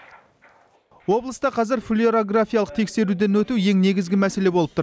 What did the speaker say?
облыста қазір флюорографиялық тексеруден өту ең негізгі мәселе болып тұр